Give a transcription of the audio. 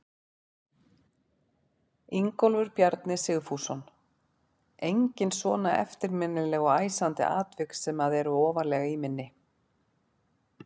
Ingólfur Bjarni Sigfússon: Engin svona eftirminnileg og æsandi atvik sem að eru ofarlega í minni?